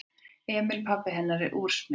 Emil pabbi hennar er úrsmiður.